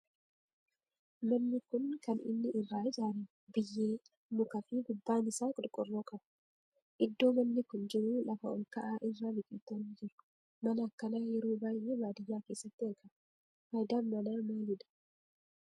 Manni kun kan inni irraa ijaarame biyyee, muka fi gubbaan isaa qorqoorroo qaba. Iddoo manni kun jiru lafa olka'aa irra biqiltoonni jiru. Mana akkanaa yeroo baayyee baadiyaa keessatti ijaarama. Faayidaan mana maalidha?